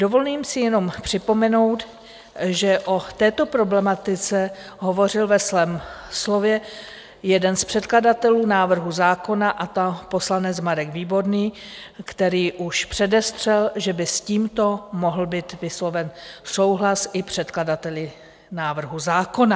Dovolím si jenom připomenout, že o této problematice hovořil ve svém slově jeden z předkladatelů návrhu zákona, a to poslanec Marek Výborný, který už předestřel, že by s tímto mohl být vysloven souhlas i předkladateli návrhu zákona.